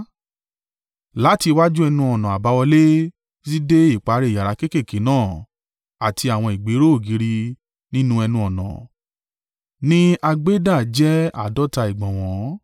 Láti iwájú ẹnu-ọ̀nà àbáwọlé títí dé ìparí yàrá kéékèèké náà àti àwọn ìgbéró ògiri nínú ẹnu-ọ̀nà ní a gbé dá jẹ́ àádọ́ta ìgbọ̀nwọ́.